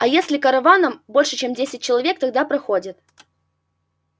а если караваном больше чем десять человек тогда проходят